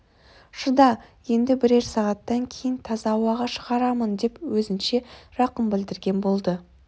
шыда енді бірер сағаттан кейін таза ауаға шығарамын деп өзінше рақым білдірген болды